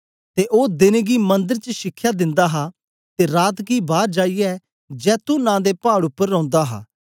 ते ओ देन गी मंदर च शिखया दिंदा हा ते रात गी बार जाईयै जैतून नां दे पाड़ उपर रौंदा हा